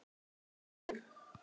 Spila golf?